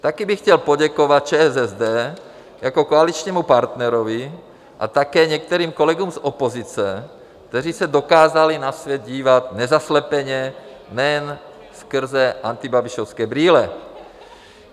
Také bych chtěl poděkovat ČSSD jako koaličnímu partnerovi a také některým kolegům z opozice, kteří se dokázali na svět dívat nezaslepeně, nejen skrze antibabišovské brýle.